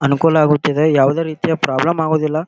ಅನುಕೂಲ ಆಗುತ್ತದೆ ಯಾವದೆ ರೀತಿಯ ಪ್ರಾಬ್ಲಮ್ ಆಗುವುದಿಲ್ಲಾ .